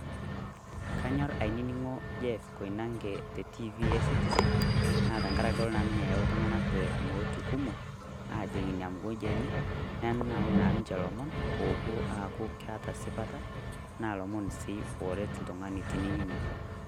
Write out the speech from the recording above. Kanyorr ainining'o Jeff Koinange tentiifi esitisen naa tengaraki kelo naa ninye ayau iltung'anak te wuejitin kumok aajing' Ina mugonji enye neyau naa ninche ilomon oopuo aaku keeta esipata naa lomon sii ooret oltung'ani tenining'.